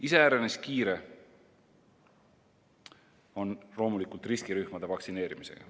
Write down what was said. Iseäranis kiire on loomulikult riskirühmade vaktsineerimisega.